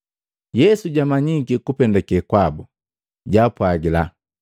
Yesu jamanyiki kupendake kwabu, jaapwagila,